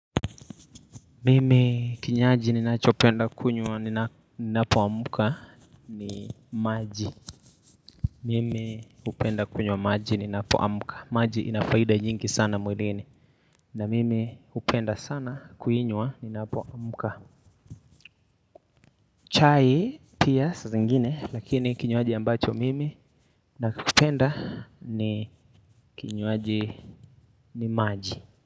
Mimi kinywaji ninachopenda kunywa ninapoamka ni maji. Mimi hupenda kunywa maji ninapoamka. Maji inafaida nyingi sana mwilini. Na mimi hupenda sana kuinywa ninapoamka. Chai pia saa zingine lakini kinywaji ambacho mimi nakipenda ni kinywaji ni maji.